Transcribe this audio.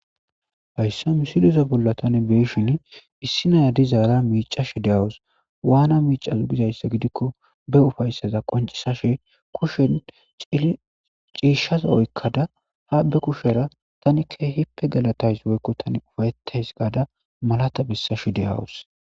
hayssa misiliza bolla tani beeshin issi naya dizaara miicashi de'awus waana miicaso gizayssa gidikko be ufayssaza qoncisashe kushen ciishshaza oykkada ha be kushera tanikke hippe galatays woykko tani ufayetays gaada malata bissash de;awus.